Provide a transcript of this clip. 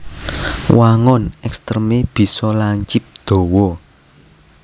Wangun ekstremé bisa lancip dawa